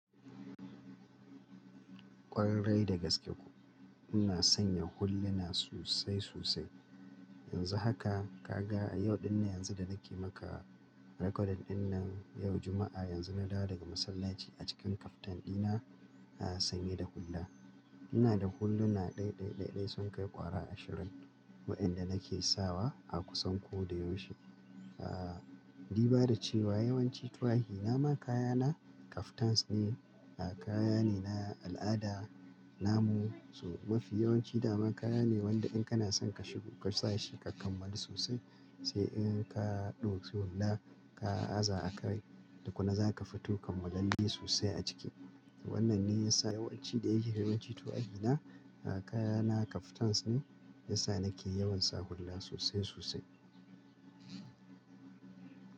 Ƙwarai da gaske kuwa, ina sanya hulluna sosai sosai. Yanzu haka ka ga a yau ɗinne yanzu da nake maka record ɗin nan, yau Juma'a yanzu na dawo daga masallaci a cikin kaftan ɗina sanye da hulla. Ina da hulluna ɗaiɗai ɗaiɗai sun kai ƙwara ashirin waɗanda nake sawa a kusan ko da yaushe. Aaa, du bada cewa yawanci tuwahina ma kayana kaftans ne. Kaya ne na al'ada namu, so mafi yawanci dama kaya ne wanda in kana son ka shiga sashe ka kammala sosai. Sai in ka ɗauki hulla ka aza a kai, tukuna zaka fi to kammalalle sosai a ciki. Wannan ne ya sa yawanci da yake yawanci tuwahina kayana kaftans ne. Ya sa nake yawan sa hulla sosai sosai.